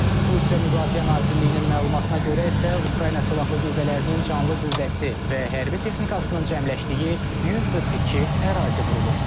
Rusiya Müdafiə Nazirliyinin məlumatına görə isə Ukrayna silahlı qüvvələrinin canlı qüvvəsi və hərbi texnikasının cəmləşdiyi 142 ərazi vurulub.